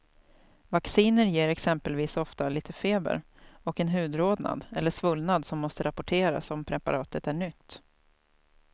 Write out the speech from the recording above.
Vacciner ger exempelvis ofta lite feber och en hudrodnad eller svullnad som måste rapporteras om preparatet är nytt.